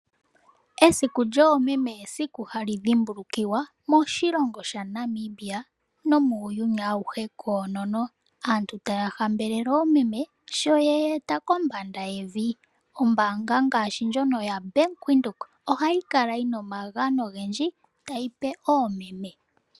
Esiku lyoomeme esiku hali dhimbulukiwa moshilongo shaNamibia nomuuyuni awuhe koonono. Aantu taya hambelele oomeme sho ye ye eta kombanda yevi. Ombaanga ngaashi ndjono yaVenduka ohayi kala yi na omagano ogendji tayi pe oomeme